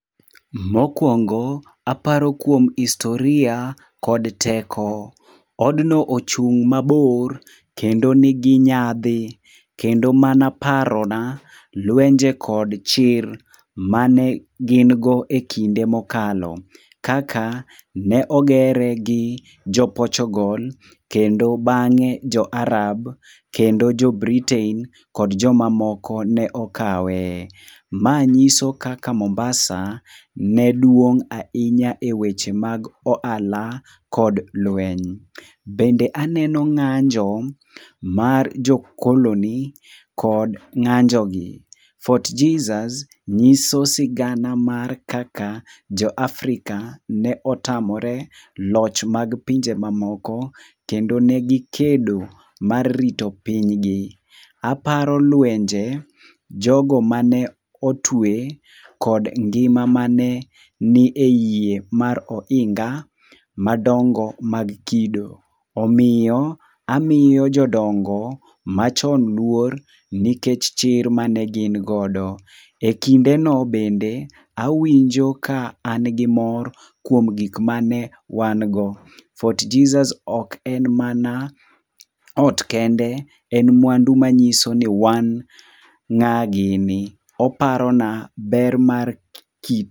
Mokuongo aparo kuom historia kod teko. Odno ochung' mabor kendo nigi nyadhi kendo mano parona lwenje kod chir mane gin go ekinde mokalo. Kaka ne ogere gi jo Potugal ,kendo bang'e jo Arab kendo jo Britain kod joma moko ne okawe. Ma nyiso kaka Mombasa ne duong' ahinya eweche mag ohala kod lweny. Bende aneno ng'anjo mar jo koloni kod ng'anjogi. Fort Jesus nyiso sigana mar kaka jo Africa ne otamore loch mag pinje mamoko kendo ne gikedo mar rito pinygi. Aparo lwenje jogo mane otwe kod ngima mane nie yie mar ohinga madongo mag kido. Omiyo amiyo jodongo machon luor nikech chir mane gin godo. Ekindeno bende awinjo ka an gi mor kuom gigo mane wan go. Fort Jesus ok en mana ot kende, en mwandu manyiso ni wan ng'a gini . Oparona ber mar kit.